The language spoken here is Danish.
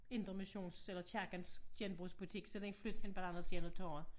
Indremissionsk eller kirkens genbrugsbutik så den flyttede hen på den anden side af torvet